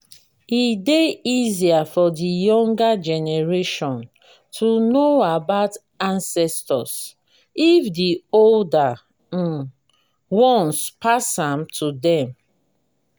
e dey easier for di younger generation to know about ancestors if di older um ones pass am to them